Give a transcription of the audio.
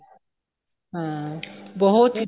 ਹਾਂ ਬਹੁਤ